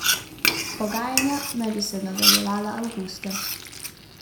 Pogajanja naj bi se nadaljevala avgusta.